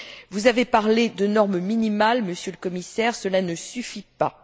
Vous avez parlé de normes minimales, Monsieur le Commissaire, cela ne suffit pas.